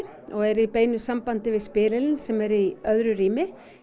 og er í beinu sambandi við spyrilinn sem er í öðru rými